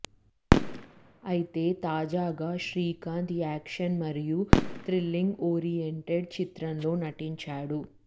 అయితే తాజాగా శ్రీకాంత్ యాక్షన్ మరియు త్రిల్లింగ్ ఓరియెంటెడ్ చిత్రంలో నటించాడు